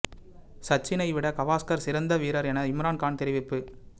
சச்சினை விட கவாஸ்கர் சிறந்த வீரர் என இம்ரான் கான் தெரிவிப்பு